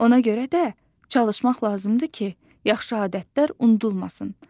Ona görə də çalışmaq lazımdır ki, yaxşı adətlər unudulmasın.